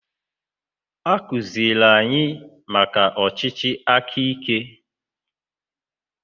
Akuziere anyị maka ọchịchị akaike.